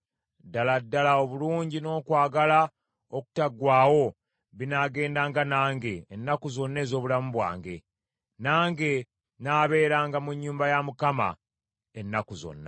Ddala ddala obulungi n’okwagala okutaggwaawo binaagendanga nange ennaku zonna ez’obulamu bwange; nange nnaabeeranga mu nnyumba ya Mukama , ennaku zonna.